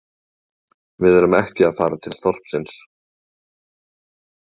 Við erum ekki að fara til þorpsins